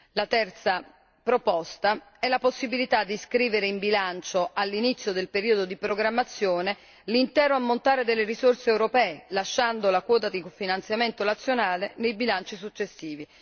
La terza proposta è la possibilità di scrivere in bilancio all'inizio del periodo di programmazione l'intero ammontare delle risorse europee, lasciando la quota di cofinanziamento nazionale nei bilanci successivi.